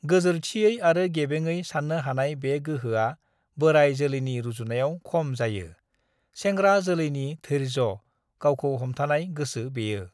गोजोरथियै आरो गेबेङै साननो हानाय बे गोहोआ बोराइ जोलैनि रुजुनायाव खम जायो, सेंग्रा जोलैनि धैर्ज' गावखौ हमथानाय गोसो बेयो।